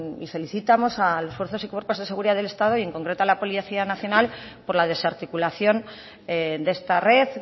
felicitamos a las fuerzas y cuerpos de seguridad del estado y en concreto a la policía nacional por la desarticulación de esta red